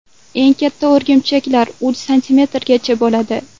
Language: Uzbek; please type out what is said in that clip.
Eng katta o‘rgimchaklar uch santimetrgacha bo‘ladi.